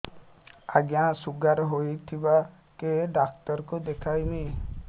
ଆଜ୍ଞା ଶୁଗାର ହେଇଥିବ କେ ଡାକ୍ତର କୁ ଦେଖାମି